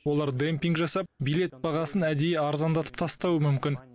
олар демпинг жасап билет бағасын әдейі арзандатып тастауы мүмкін